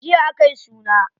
Jiya akayi suna.